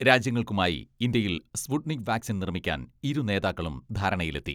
രാജ്യങ്ങൾക്കുമായി ഇന്ത്യയിൽ Sputnik vaccine നിർമ്മിക്കാൻ ഇരു നേതാക്കളും ധാരണയിലെത്തി.